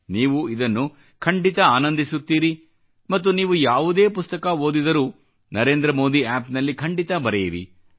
ನೀವು ಇದನ್ನು ಖಂಡಿತ ಆನಂದಿಸುತ್ತೀರಿ ಮತ್ತು ನೀವು ಯಾವುದೇ ಪುಸ್ತಕ ಓದಿದರೂ ನರೇಂದ್ರ ಮೋದಿ ಆಪ್ ನಲ್ಲಿ ಖಂಡಿತಾ ಬರೆಯಿರಿ